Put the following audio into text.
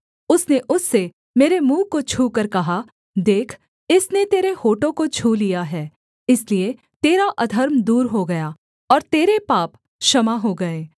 उसने उससे मेरे मुँह को छूकर कहा देख इसने तेरे होठों को छू लिया है इसलिए तेरा अधर्म दूर हो गया और तेरे पाप क्षमा हो गए